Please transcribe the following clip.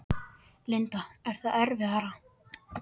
Linda: Er það erfiðara?